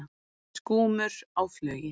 Skúmur á flugi.